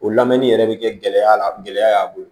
O lamɛnni yɛrɛ bɛ kɛ gɛlɛya la gɛlɛya y'a bolo